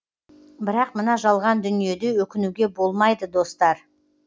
бірақ мына жалған дүниеде өкінуге болмайды достар